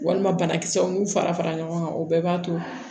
Walima banakisɛw n'u fara fara ɲɔgɔn kan o bɛɛ b'a to